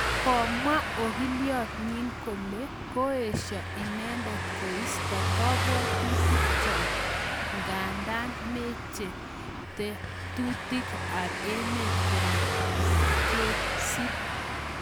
Komwaa ogiliat nyi kole koesha inendet koista kabwatutik chok nganda meche tetutik ab emet kole matkesub.